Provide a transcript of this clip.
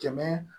Kɛmɛ